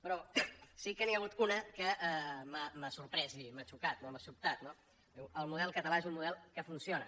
però sí que n’hi ha hagut una que m’ha sorprès i m’ha xocat m’ha sobtat no diu el model català és un model que funciona